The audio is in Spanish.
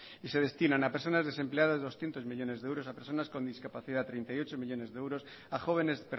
y se destinan a personas desempleadas doscientos millónes de euros a personas con discapacidad treinta y ocho millónes de euros a jóvenes